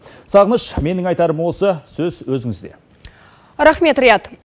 сағыныш менің айтарым осы сөз өзіңізде рахмет риат